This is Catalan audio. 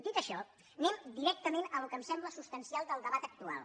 dit això anem directament al que em sembla substancial del debat actual